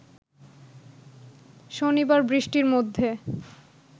শনিবার বৃষ্টির মধ্যে